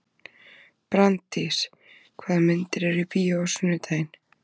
Branddís, hvaða myndir eru í bíó á sunnudaginn?